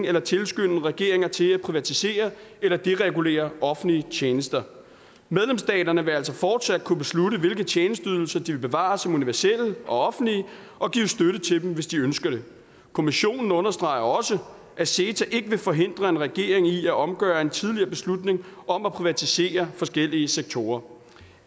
eller tilskynde regeringer til at privatisere eller deregulere offentlige tjenester medlemsstaterne vil altså fortsat kunne beslutte hvilke tjenesteydelser de vil bevare som universelle og offentlige og give støtte til dem hvis de ønsker det kommissionen understreger også at ceta ikke vil forhindre en regering i at omgøre en tidligere beslutning om at privatisere forskellige sektorer